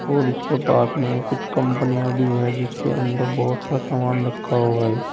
और इसके पास में कुछ कंपनियां भी हैं जिसके अंदर बहुत सा सामान रखा हुआ है।